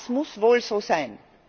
Das muss wohl so sein.